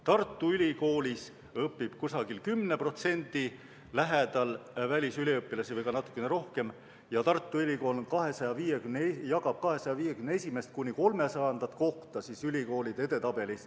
Tartu Ülikoolis õpib 10% lähedal välisüliõpilasi või ka natukene rohkem ja Tartu Ülikool jagab 251.–300. kohta ülikoolide edetabelis.